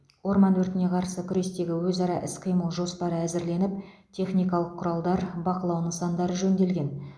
орман өртіне қарсы күрестегі өзара іс қимыл жоспары әзірленіп техникалық құралдар бақылау нысандары жөнделген